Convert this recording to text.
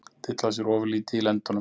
Dillar sér ofurlítið í lendunum.